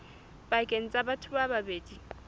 pakeng tsa batho ba babedi